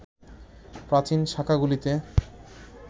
প্রাচীন শাখাগুলিতে